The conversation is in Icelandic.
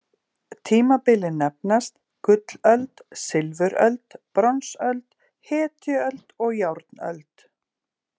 Tímabilin nefnast: gullöld, silfuröld, bronsöld, hetjuöld og járnöld.